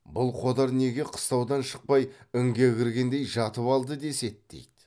бұл қодар неге қыстаудан шықпай інге кіргендей жатып алды деседі дейді